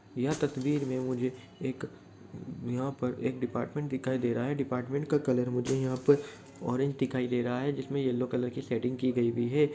यह ततवीर में मुझे एक यहां पर एक ऊ डिपार्टमेंट दिखाई दे रहा है। डिपार्टमेंट में का कलर मुझे यहां पर ऑरेंज दिखाई दे रहा है जिसमे येलो कलर की सेडिंग की गई हुई है।